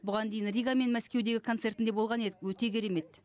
бұған дейін рига мен мәскеудегі концертінде болған едік өте керемет